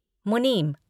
मुनीम